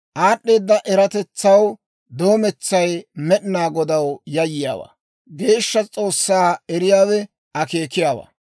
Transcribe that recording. Aad'd'eeda eratetsaw doometsay Med'inaa Godaw yayyiyaawaa; Geeshsha S'oossaa eriyaawe akeekiyaawaa.